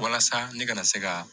Walasa ne ka na se ka